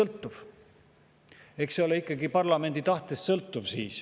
Jah, eks see sõltu ikkagi parlamendi tahtest.